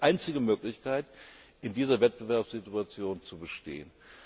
Das ist die einzige Möglichkeit, in dieser Wettbewerbssituation zu bestehen.